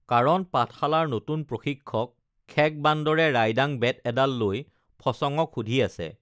কাৰণ পাঠশালাৰ নতুন প্ৰশিক্ষক খেক বান্দৰে ৰাইডাং বেত এডাল লৈ ফচঙক সুধি আছে